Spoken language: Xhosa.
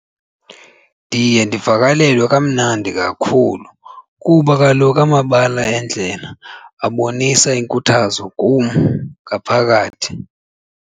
Ndiye ndivakalelwe kamnandi kakhulu kuba kaloku amabala endlela abonisa iinkuthazo kum ngaphakathi.